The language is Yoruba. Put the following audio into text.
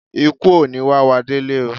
Ìkú ò ní wá wá délé oo.